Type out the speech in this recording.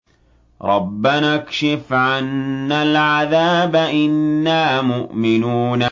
رَّبَّنَا اكْشِفْ عَنَّا الْعَذَابَ إِنَّا مُؤْمِنُونَ